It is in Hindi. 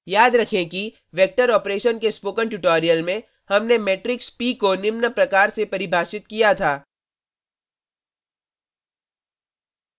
याद रखें कि वेक्टर ऑपरेशन के स्पोकन ट्यूटोरियल में हमने मेट्रिक्स p को निम्न प्रकार से परिभाषित किया था